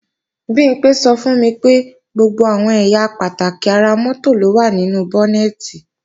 Bimpé sọ fún mi pé gbogbo àwọn ẹ̀yà pàtàkì ara mọ́tò ló wà nínú bọ́nẹ̀tì